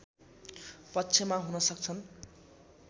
पक्षमा हुन सक्छन्